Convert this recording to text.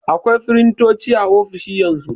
Akwai firintoci a ofisoshi yanzu.